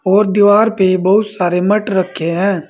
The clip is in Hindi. और दीवार पे बहुत सारे मट रखे हैं।